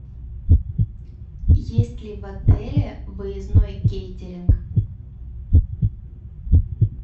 есть ли в отеле выездной кейтеринг